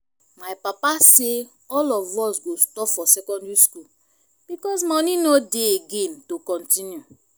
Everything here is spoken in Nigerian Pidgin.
my papa say all of us go stop for secondary school because money no dey again to continue